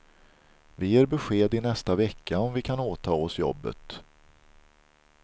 Vi ger besked i nästa vecka om vi kan åta oss jobbet.